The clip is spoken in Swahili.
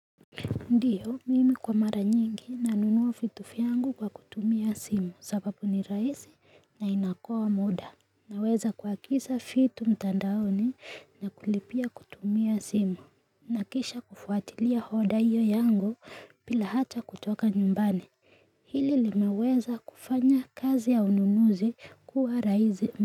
Ndiyo mimi kwa mara nyingi nanunua vitu vyangu kwa kutumia simu sababu ni raisi na inakoa muda naweza kuagisa fitu mtandaoni na kulipia kutumia simu nakisha kufuatilia hoda hiyo yangu bila hata kutoka nyumbani hili limeweza kufanya kazi ya ununuzi kuwa raisi.